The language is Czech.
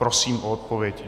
Prosím o odpověď.